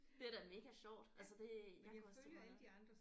Det er da mega sjovt altså det jeg kunne også tænke mig at lave